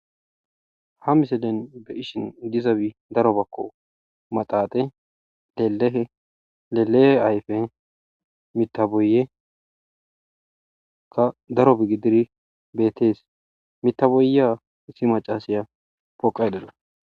Ha miselen be ishin dizabi daro bakko maxaaxe, lelehe, lelehe ayfe, mitaboyekka darobegidiri beetees. mitaboya issi macasaya poqay dawus.